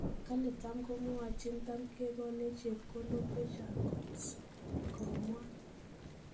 Kole tamko mwachin ' tamkekonech chepkondook chechang kot.," komwaa